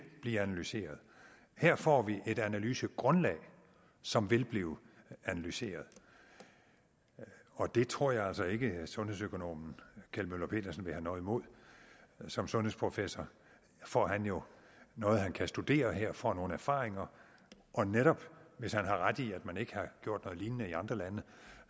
blive analyseret her får vi et analysegrundlag som vil blive analyseret og det tror jeg altså ikke at sundhedsøkonom kjeld møller pedersen vil have noget imod som sundhedsprofessor får han jo noget han kan studere her og får nogle erfaringer og hvis han har ret i at man ikke har gjort noget lignende i andre lande